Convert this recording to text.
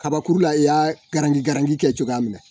Kabakuru la i y'a garangi garangi kɛ cogoya min na